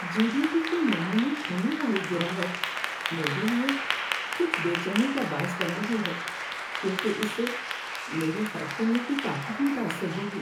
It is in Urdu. جی ڈی پی کے نمو میں ہونے والی گراوٹ میرے لیے کچھ بے چینی کا باعث بن رہی ہے کیونکہ اس سے میرے خرچ کرنے کی طاقت متاثر ہوگی۔